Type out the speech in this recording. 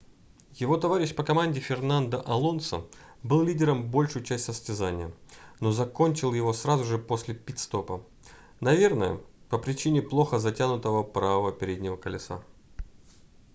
его товарищ по команде фернандо алонсо был лидером большую часть состязания но закончил его сразу же после пит-стопа наверное по причине плохо затянутого правого переднего колеса